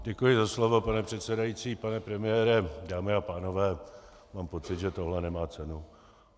Děkuji za slovo, pane předsedající, pane premiére, dámy a pánové, mám pocit, že tohle nemá cenu.